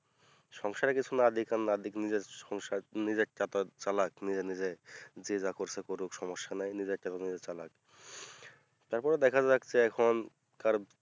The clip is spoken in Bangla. সংসারে কিছু না দিক আর না দিক নিজের সংসার নিজেরটা আপাদত চালাক নিজের নিজের যে যা করছে করুক সমস্যা নাই নিজের টা নিজেই চালাক তারপরে দেখা যাচ্ছে এখন কার